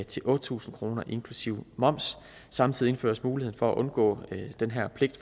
til otte tusind kroner inklusive moms samtidig indføres mulighed for at undgå den her pligt